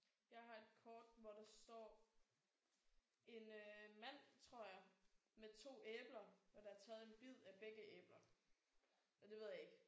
Jeg har et kort hvor der står en øh mand tror jeg. Med to æbler og der er taget en bid af begge æbler og det ved jeg ikke